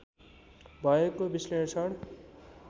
भएको विश्लेषण